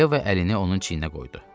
Yeva əlini onun çiyninə qoydu.